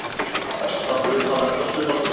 Besta hlutavelta sumarsins!